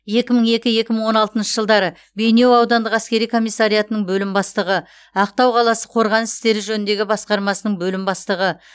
екі мың екі екі мың он алтыншы жылдары бейнеу аудандық әскери комиссариатының бөлім бастығы ақтау қаласы қорғаныс істері жөніндегі басқармасының бөлім бастығы